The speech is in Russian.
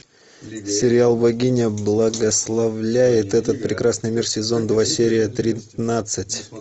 сериал богиня благословляет этот прекрасный мир сезон два серия тринадцать